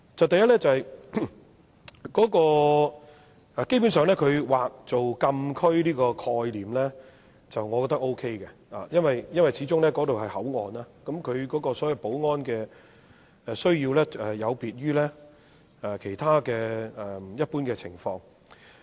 第一，基本上劃作禁區的概念，我覺得 OK， 因為那裏始終是口岸，保安需要有別於其他一般情況。